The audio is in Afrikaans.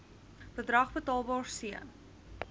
bedrag betaalbaar c